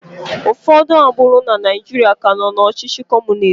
Ụfọdụ agbụrụ na Naijiria ka nọ na ọchịchị Kọmunist.